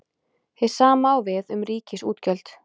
Hið sama á við um ríkisútgjöld.